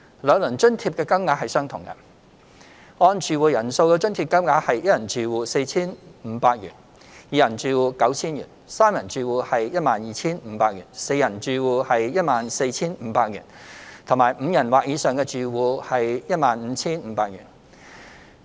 兩輪津貼的金額相同，按住戶人數的津貼金額為一人住戶 4,500 元、二人住戶 9,000 元、三人住戶 12,500 元、四人住戶 14,500 元及五人或以上住戶 15,500 元。